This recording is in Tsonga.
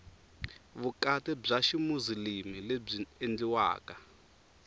vukati bya ximuzilimi lebyi endliweke